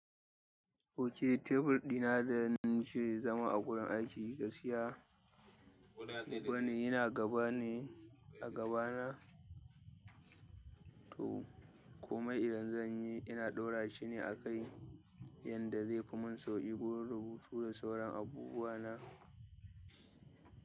Ok tebur ɗina da nake zama a gurin aiki gaskiya. Wani yana gaba ne a gaba na to komai idan zanyi, ina ɗora shine akai yadda zaifi mun sauƙi gurin rubutu da sauran abubuwa na.